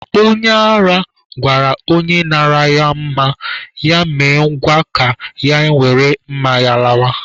Onye ara gwara onye nara ya mma, ya mee ngwa ka ya were mma ya lawa.